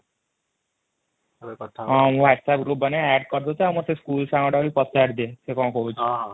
ହଁ ମୁ 8 ଗ୍ରୁପ ବନେଇବା ଏଡ କରିଦଉଛି ମତେ ସ୍କୁଲ ସାଙ୍ଗ ଗୁଡାକ ବି ପଚାରି ଦିଅ ସେ କ'ଣ କହୁଛନ୍ତି ହଁ ହଁ |